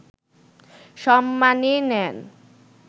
সম্মানী নেন